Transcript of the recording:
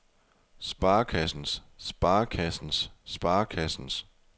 sparekassens sparekassens sparekassens